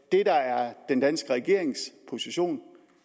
det der er den danske regerings position